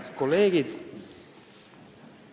Head kolleegid!